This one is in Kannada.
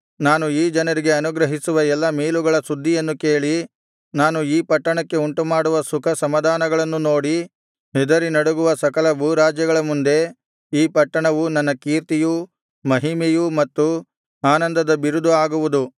ನಾನು ಈ ಜನರಿಗೆ ಅನುಗ್ರಹಿಸುವ ಎಲ್ಲಾ ಮೇಲುಗಳ ಸುದ್ದಿಯನ್ನು ಕೇಳಿ ನಾನು ಈ ಪಟ್ಟಣಕ್ಕೆ ಉಂಟುಮಾಡುವ ಸುಖ ಸಮಾಧಾನಗಳನ್ನು ನೋಡಿ ಹೆದರಿ ನಡುಗುವ ಸಕಲ ಭೂರಾಜ್ಯಗಳ ಮುಂದೆ ಈ ಪಟ್ಟಣವು ನನ್ನ ಕೀರ್ತಿಯೂ ಮಹಿಮೆಯೂ ಮತ್ತು ಆನಂದದ ಬಿರುದು ಆಗುವುದು